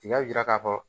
I y'a jira k'a fɔ